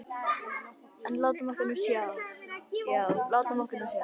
En látum okkur nú sjá, já, látum okkur nú sjá.